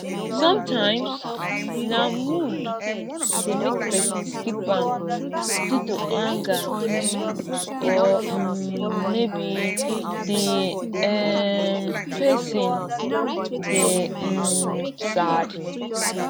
sometimes na mood de make person skip am due to anger or um maybe di um person de um sad